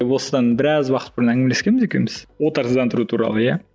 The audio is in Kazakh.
осындан біраз уақыт бұрын әңгімелескенбіз екеуміз отарсыздандыру туралы иә